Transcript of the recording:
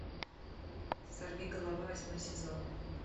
сорви голова восьмой сезон